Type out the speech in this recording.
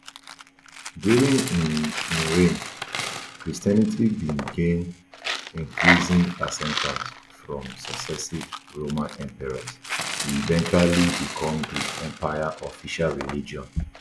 during um im reign christianity bin gain increasing acceptance from successive roman emperors e eventually become di empire official religion